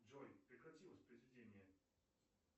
джой прекрати воспроизведение